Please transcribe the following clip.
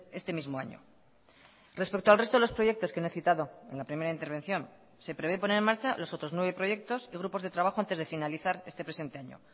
este mismo año respecto al resto de los proyectos que no he citado en la primera intervención se prevé poner en marcha los otros nueve proyectos y grupos de trabajo antes de finalizar este presente año